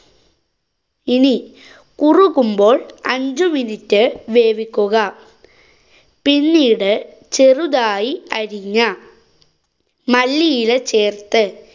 ഇനി കുറുകുമ്പോള്‍ അഞ്ചു minute വേവിക്കുക. പിന്നീട് ചെറുതായി അരിഞ്ഞ മല്ലിയില ചേര്‍ത്ത്